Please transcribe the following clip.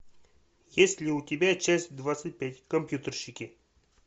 есть ли у тебя часть двадцать пять компьютерщики